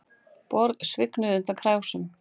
Borð svignuðu undan krásum